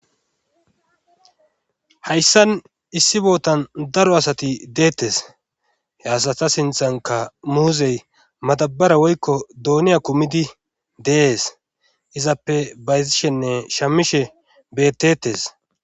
Hayssan issi bootan daro asati deettes he asata sinthanka muuzey matabara woykko duuniya kumidi dees izappe baysishenne shamishe bettetes